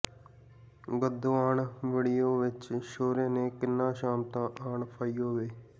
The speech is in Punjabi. ਗਦੋਂ ਆਣ ਵੜਿਉਂ ਵਿੱਚ ਛੋਹਰਾਂ ਦੇ ਕਿਨ੍ਹਾਂ ਸ਼ਾਮਤਾਂ ਆਣ ਫਹਾਇਉਂ ਵੇ